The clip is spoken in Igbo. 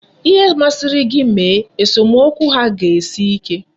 Ihe masịrị gị mee, esomokwu ha ga-esi ike.